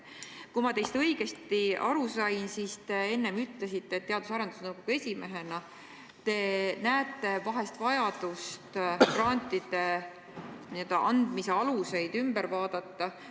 Kui ma teist õigesti aru sain, siis te enne ütlesite, et Teadus- ja Arendusnõukogu esimehena te näete vahest vajadust grantide andmise alused ümber vaadata.